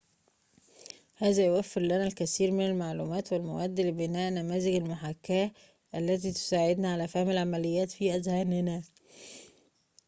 هذا يوفر لنا الكثير من المعلومات والمواد لبناء نماذج المحاكاة التي تساعدنا على فهم العمليات في أذهاننا